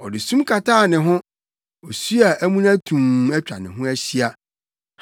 Ɔde sum kataa ne ho, osu a amuna tumm atwa ne ho ahyia.